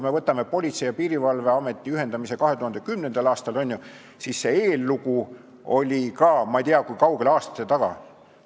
Vaatame Politsei- ja Piirivalveameti ühendamist 2010. aastal, on ju, ka selle eellugu jäi ju ei tea kui kaugele aastate taha.